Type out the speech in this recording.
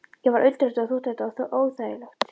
Ég varð undrandi og þótti þetta óþægilegt.